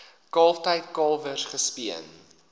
kalftyd kalwers gespeen